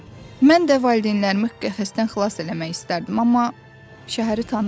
Mən də valideynlərimi qəfəsdən xilas eləmək istərdim, amma şəhəri tanımıram.